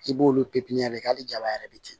I b'olu pipiniyɛri hali jaba yɛrɛ de ten